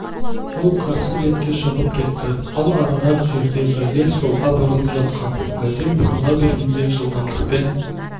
ол қарсы бетке шығып кетті ал арырақ жерде газель солға бұрылып жатқан газель бұрыла бергенде жылдамдықпен